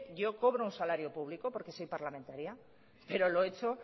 yo cobro un salario público porque soy parlamentaria pero lo he hecho